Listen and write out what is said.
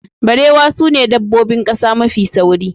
Barewa sune dabbobin ƙasa mafi sauri.